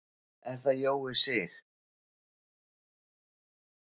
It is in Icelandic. Er það Jói Sig?